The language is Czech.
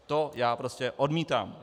To já prostě odmítám.